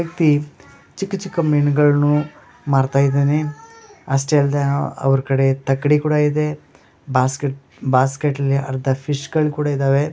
ವ್ಯಕ್ತಿ ಚಿಕ್ಕ್ ಚಿಕ್ಕ ಮೀನುಗಳನ್ನು ಮಾರ್ತ ಇದ್ದಾನೆ ಅಷ್ಟೆ ಅಲ್ದೆ ಅವ್ರ್ - ಅವ್ರ್ ಕಡೆ ತಕ್ಕಡಿ ಕೂಡ ಇದೆ ಬಾಸ್ಕೆಟ್ - ಬಾಸ್ಕೆಟ್ ಅಲ್ಲಿ ಅರ್ಧ ಫಿಶ್ ಗಳು ಕೂಡ ಇದ್ದಾವೆ.